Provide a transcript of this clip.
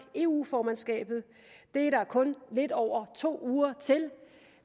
eu formandskabet det er der kun lidt over to uger til